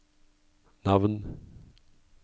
navn